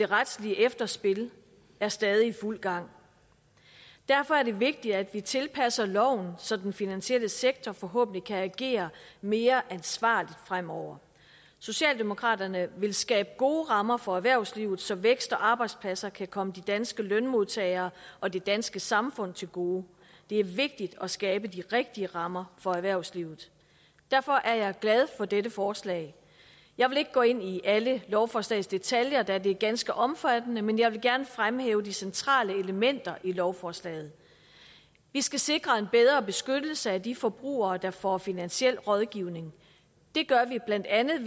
det retslige efterspil er stadig i fuld gang derfor er det vigtigt at vi tilpasser loven så den finansielle sektor forhåbentlig kan agere mere ansvarligt fremover socialdemokraterne vil skabe gode rammer for erhvervslivet så vækst og arbejdspladser kan komme de danske lønmodtagere og det danske samfund til gode det er vigtigt at skabe de rigtige rammer for erhvervslivet derfor er jeg glad for dette forslag jeg vil ikke gå ind i alle lovforslagets detaljer da det er ganske omfattende men jeg vil gerne fremhæve de centrale elementer i lovforslaget vi skal sikre en bedre beskyttelse af de forbrugere der får finansiel rådgivning det gør vi blandt andet